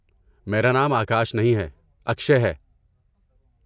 میرا نام آکاش نہیں ہے، اکشئے ہے۔